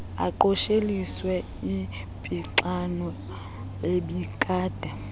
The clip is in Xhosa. aqosheliswe impixano ebikade